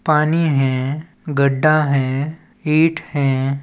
पानी है गड्डा है ईट है।